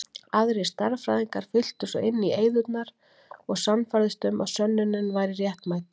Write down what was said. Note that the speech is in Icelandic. Aðrir stærðfræðingar fylltu svo inn í eyðurnar og sannfærðust um að sönnunin væri réttmæt.